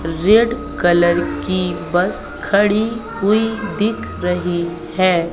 Red colour की bus खड़ी हुई दिख रही है।